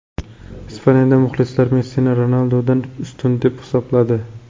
Ispaniyada muxlislar Messini Ronaldudan ustun deb hisobladi.